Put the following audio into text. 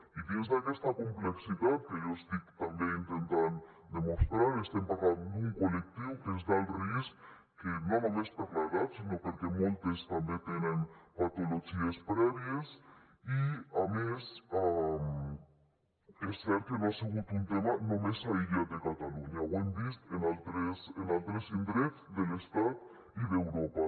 i dins d’aquesta complexitat que jo estic també intentant demostrar estem parlant d’un col·lectiu que és d’alt risc que no només per l’edat sinó perquè moltes també tenen patologies prèvies i a més és cert que no ha sigut un tema només aïllat de catalunya ho hem vist en altres en altres indrets de l’estat i d’europa